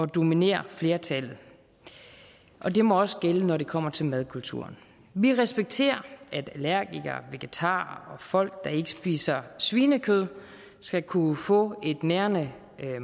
dominere flertallet og det må også gælde når det kommer til madkulturen vi respekterer at allergikere vegetarer og folk der ikke spiser svinekød skal kunne få en nærende